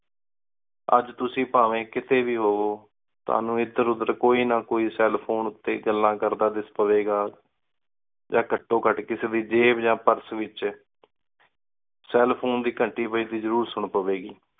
ਅਜੇ ਤੁਸੀਂ ਪਾਵੇਂ ਕਿਤਹੀ ਵੀ ਹੋਵੋ ਤੁਹਾਨੂ ਇਧੇਰ ਉਧੇਰ ਕੋਈ ਨਾ ਕੋਈ ਕੇਲ ਫੋਨੇ ਟੀ ਗੱਲਾਂ ਕਰਦਾ ਦਿੱਸ ਪਾਵੀ ਗਾ ਯਾ ਘਟੋ ਘਟ ਵੀ ਜੈਬ ਵਿਚ ਯਾ ਪੁਰਸੇ ਏਚ ਕੇਲ ਫੋਨੇ ਦੀ ਘੰਟੀ ਵਜਦੀ ਜ਼ਰੂਰ ਸੁਨ ਪਾਵੀ ਗੀ